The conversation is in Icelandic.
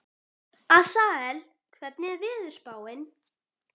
Asael, hvernig er veðurspáin?